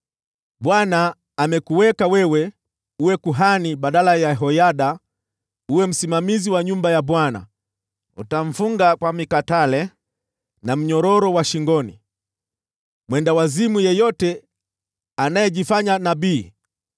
‘ Bwana amekuweka wewe uwe kuhani badala ya Yehoyada ili uwe msimamizi wa nyumba ya Bwana . Unapaswa kufunga kwa mikatale na mnyororo wa shingoni mwendawazimu yeyote anayejifanya nabii.